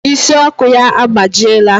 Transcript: Ịsị Ọkụ ya agbajiela.